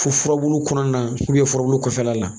Fo furabulu kɔnɔna furabulu kɔfɛla la